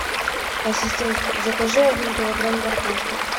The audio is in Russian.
ассистент закажи один килограмм картошки